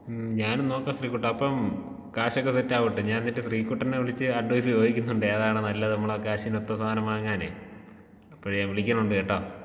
മ്മ് ഞാനും നോക്കാം ശ്രീ കുട്ടാ അപ്പം കാശൊക്കെ സെറ്റാവട്ടെ ഞാൻ എന്നിട്ട് ശ്രീ കുട്ടനേ വിളിച്ച് അഡ്വയ്സ് ചോദിക്കുന്നുണ്ട്. ഏതാണ് നല്ലത് നമ്മുടെ കാശിനൊത്ത സാനം വാങ്ങനേ അപ്പഴ് ഞാൻ വിളിക്കുന്നുണ്ട് കെട്ടോ.